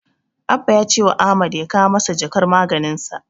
Abba ya cewa Ahmad ya kawo masa jakar maganinsa.